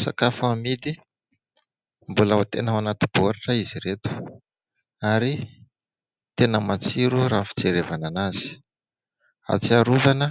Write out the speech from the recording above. Sakafo amidy mbola tena ao anaty baoritra izy ireto ary tena matsiro raha fijerevana anazy. Ahatsiarovana